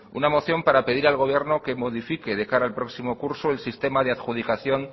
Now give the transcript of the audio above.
una moción para pedir al gobierno de modifique de cara al próximo curso el sistema de adjudicación